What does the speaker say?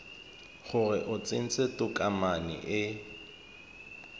gore o tsentse tokomane e